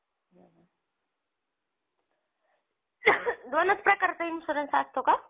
दोनच प्रकारचा insurance असतो का?